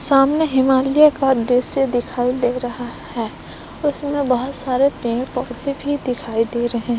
सामने हिमालय का दृश्य दिखाई दे रहा है उसमें बहुत सारे पेड़ पौधे भी दिखाई दे रहे--